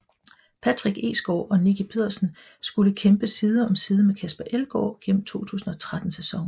Patrick Egsgaard og Nicki Petersen skulle kæmpe side om side med Casper Elgaard gennem 2013 sæsonen